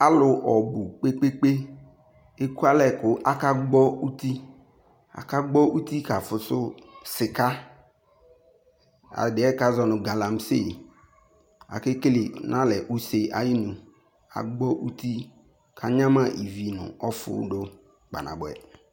Alʋ ɔbʋ kpekpekpe ekualɛ kʋ akagbɔ uti Akagbɔ uti ka fʋsʋ sika, ɛdɩɛ kazɔ nʋ galamsi ake kele dʋ n'alɛ nʋ use ayinu Agbɔ uti, k'anyama ivi nʋ ɔfʋ dʋ kpa nabʋɛ